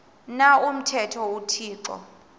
na umthetho uthixo